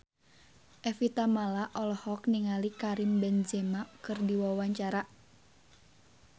Evie Tamala olohok ningali Karim Benzema keur diwawancara